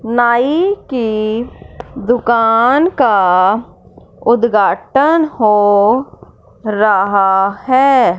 नाई की दुकान का उद्घाटन हो रहा हैं।